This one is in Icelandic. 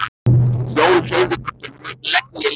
Jón hreyfði hvorki legg né lið.